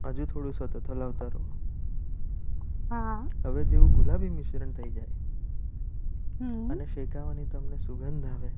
આજે થોડું સતત હલાવતા રહો. તમે તેવું ગુલાબી મિશ્રણ થયી. અને શેકાવે. તમને સુગંધ આવે એટલે